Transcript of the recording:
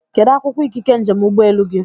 Kedụ akwụkwọ ikike njem ụgbọelu gị?